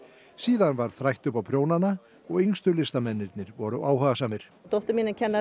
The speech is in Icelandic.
síðan var þrætt upp á prjónana og yngstu listamennirnir voru áhugasamir dóttir mín er kennari